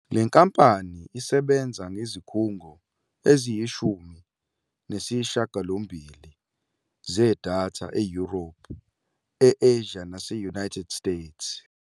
Le nkampani isebenza ngezikhungo eziyishumi nesishiyagalombili zedatha eYurophu, e- Asia nase- United States.